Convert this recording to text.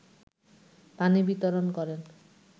পানি বিতরণ করেন